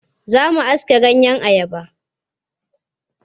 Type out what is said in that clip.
Za mu aske ganyeyen ayaba.